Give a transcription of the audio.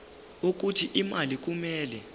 wokuthi imali kumele